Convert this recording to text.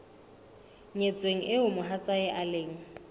nyetsweng eo mohatsae e leng